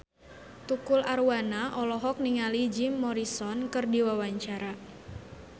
Tukul Arwana olohok ningali Jim Morrison keur diwawancara